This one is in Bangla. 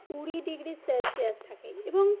কুড়ি ডিগ্রি সেলসিয়াস থাকে এবং